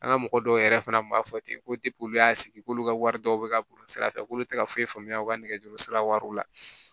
An ka mɔgɔ dɔw yɛrɛ fana b'a fɔ ten ko olu y'a sigi k'olu ka wari dɔw bɛ ka bɔ sira fɛ k'olu tɛ ka foyi faamuya u ka nɛgɛjuru sira wariw la